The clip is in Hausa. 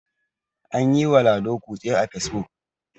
an yiwa lado kutse a fesbuk